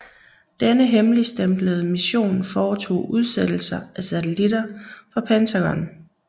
Denne hemmeligstemplede mission foretog udsættelser af satellitter for Pentagon